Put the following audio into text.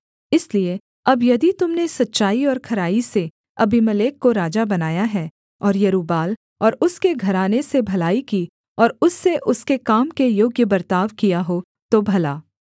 इसलिए अब यदि तुम ने सच्चाई और खराई से अबीमेलेक को राजा बनाया है और यरूब्बाल और उसके घराने से भलाई की और उससे उसके काम के योग्य बर्ताव किया हो तो भला